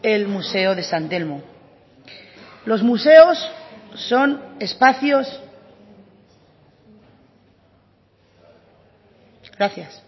el museo de san telmo los museos son espacios gracias